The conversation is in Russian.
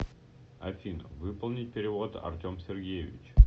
афина выполнить перевод артем сергеевич